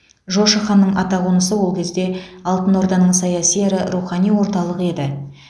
жошы ханның атақонысы ол кезде алтын орданың саяси әрі рухани орталығы еді